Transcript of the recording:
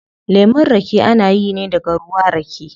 Lemun rake ana yi ne daga ruwa rake